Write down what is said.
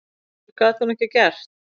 Betur gat hún ekki gert.